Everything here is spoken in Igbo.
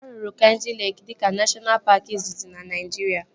A rụrụ Kainjị Leeki dịka neshọna paaki izizi na Naijiria